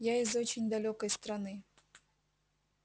я из очень далёкой страны